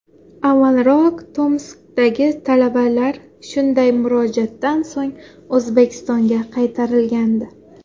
Avvalroq Tomskdagi talabalar shunday murojaatdan so‘ng O‘zbekistonga qaytarilgandi.